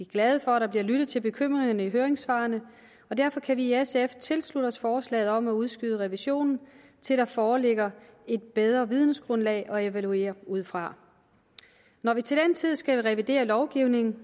glade for at der bliver lyttet til bekymringerne i høringssvarene og derfor kan vi i sf tilslutte os forslaget om at udskyde revisionen til der foreligger et bedre vidensgrundlag at evaluere ud fra når vi til den tid skal revidere lovgivningen